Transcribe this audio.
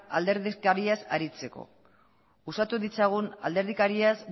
alderdikariez aritzeko uxatu ditzagun alderdikariaz